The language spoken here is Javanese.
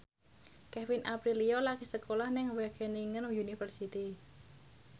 Kevin Aprilio lagi sekolah nang Wageningen University